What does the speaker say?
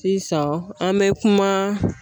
Sisan an bɛ kuma